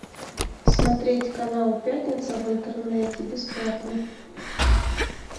смотреть канал пятница в интернете бесплатно